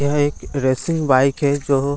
यह एक racing bike है जो --